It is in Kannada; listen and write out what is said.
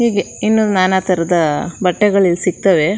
ಹೀಗೆ ಇನ್ನು ನಾನಾ ತರದ ಬಟ್ಟೆಗಳು ಇಲ್ಲಿ ಸಿಗ್ತವೆ.